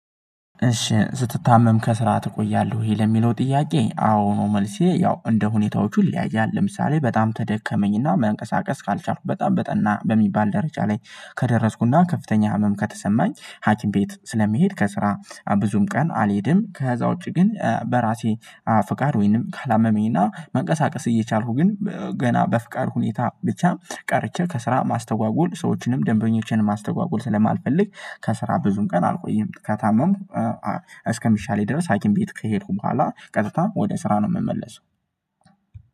እሺ ስትታመም ከስራ ትቆያለሁ ይሄ ለሚለው ጥያቄ አዎ ነው። መልሴ ያው እንደ ሁኔታዎቹ ይለያያል። ለምሳሌ በጣም ተደከመኝና መንቀሳቀስ ካልቻልኩበት በጣም በጠና በሚባል ደረጃ ላይ ከደረስኩና ከፍተኛ ህመም ከተሰማኝ ሀኪም ቤት ስለሚሄድ ከስራ ብዙም ቀን አልሄድም። ከዛ ውጪ ግን በራሴ ፍቃድ ወይንም ካላመመኝና መንቀሳቀስ እየቻልኩ ግን ገና በፍቃድ ሁኔታ ብቻ ቀርቼ ከስራ ማስተጓጎል ሰዎችንም ደንበኞችንም ማስተጓጎል ስለማልፈልግ ከስራ ብዙም ቀን አልቆይም። ከታመምኩ እስከ ሚሻለኝ ድረስ ሀኪም ቤት ከሄድኩ በኋላ ቀጥታ ወደ ስራ ነው የምመለሰው።